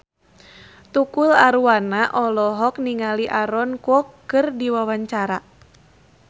Tukul Arwana olohok ningali Aaron Kwok keur diwawancara